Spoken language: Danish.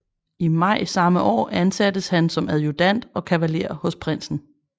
I maj samme år ansattes han som adjudant og kavaler hos prinsen